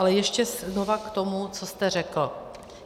Ale ještě znova k tomu, co jste řekl.